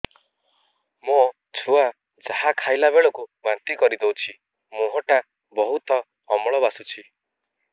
ମୋ ଛୁଆ ଯାହା ଖାଇଲା ବେଳକୁ ବାନ୍ତି କରିଦଉଛି ମୁହଁ ଟା ବହୁତ ଅମ୍ଳ ବାସୁଛି